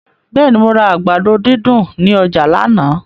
Bẹ́ẹ̀ni, mo ra àgbàdo dídùn ní ọjà lánàá.